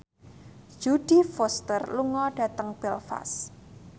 Jodie Foster lunga dhateng Belfast